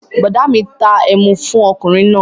Bọ̀ọ̀dá mi ta ẹmu fún ọkùnrin náà